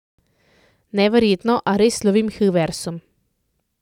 Neverjetno, a res lovim Hilversum.